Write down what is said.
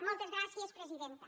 moltes gràcies presidenta